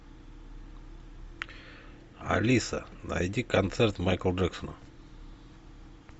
алиса найди концерт майкла джексона